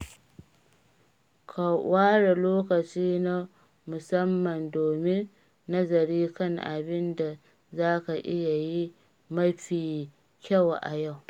Ka ware lokaci na musamman domin nazari kan abin da za ka iya yi mafi kyau a yau.